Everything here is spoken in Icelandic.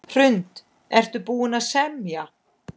Hrund: Er búið að semja?